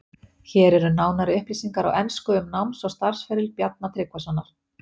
Hér eru nánari upplýsingar á ensku um náms- og starfsferil Bjarna Tryggvasonar.